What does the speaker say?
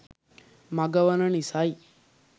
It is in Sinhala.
මග වන නිසයි.